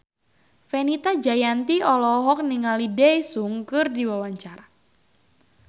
Fenita Jayanti olohok ningali Daesung keur diwawancara